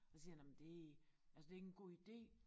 Så siger jeg nåh men det altså det er ikke en god ide